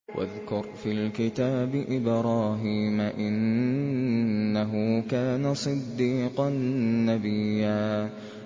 وَاذْكُرْ فِي الْكِتَابِ إِبْرَاهِيمَ ۚ إِنَّهُ كَانَ صِدِّيقًا نَّبِيًّا